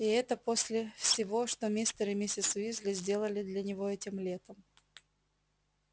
и это после всего что мистер и миссис уизли сделали для него этим летом